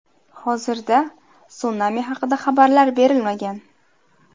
Hozirda, sunami haqida xabarlar berilmagan.